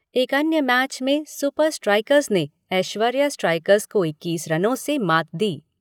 एक अन्य मैच में सुपर स्ट्राइकर्स ने एश्वर्या स्ट्राइकर्स को इक्कीस रनों से मात दी।